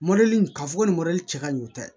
k'a fɔ ko nin cɛ ka ɲi tɛ